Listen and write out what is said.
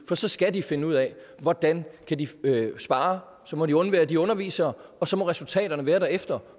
så skal de finde ud af hvordan de kan spare så må de undvære de undervisere og så må resultaterne være derefter